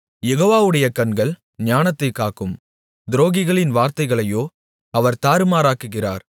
யெகோவாவுடைய கண்கள் ஞானத்தைக் காக்கும் துரோகிகளின் வார்த்தைகளையோ அவர் தாறுமாறாக்குகிறார்